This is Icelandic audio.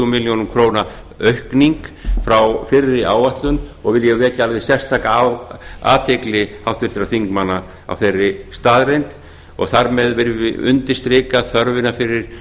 milljónir króna aukning frá fyrri áætlun og vil ég vekja alveg sérstaka athygli háttvirtra þingmanna á þeirri staðreynd og þar með viljum við undirstrika þörfina fyrir